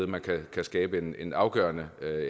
man kan skabe en en afgørende